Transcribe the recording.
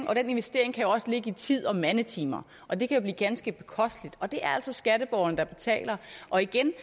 og den investering kan jo også ligge i tid og mandetimer og det kan blive ganske bekosteligt og det er altså skatteborgerne der betaler og igen